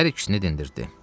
Hər ikisini dindirdi.